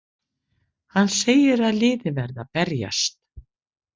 Hann segir að liðið verði að berjast!